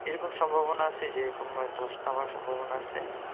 এরকম সম্ভবনা আছে যেরকম ধস নামার সম্ভবনা আছে